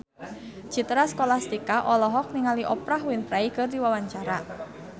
Citra Scholastika olohok ningali Oprah Winfrey keur diwawancara